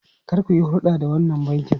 Kar ku yi hurɗa da wannan bankin!